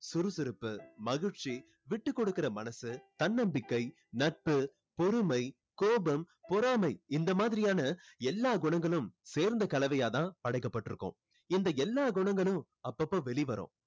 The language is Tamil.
சுறுசுறுப்பு மகிழ்ச்சி விட்டுகொடுக்குற மனசு தன்னம்பிக்கை நட்பு பொறுமை கோபம் பொறாமை இந்த மாதிரியான எல்லா குணங்களும் சேர்ந்த கலவையா தான் படைக்கப்பட்டு இருக்கோம் இந்த எல்லா குணங்களும் அப்பப்போ வெளிவரும்